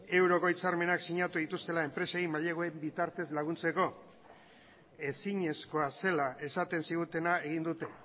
euroko hitzarmenak sinatu dituztela enpresei maileguen bitartez laguntzeko ezinezkoa zela esaten zigutena egin dute